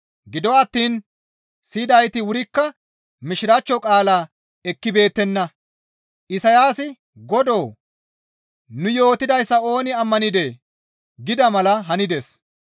Gido attiin siyidayti wurikka Mishiraachcho qaalaa ekkibeettenna; Isayaasi, «Godoo! Nu yootidayssa ooni ammanidee?» gida mala hanides.